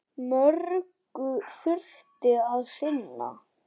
Mörgu þurfti að sinna.